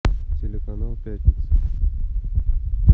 телеканал пятница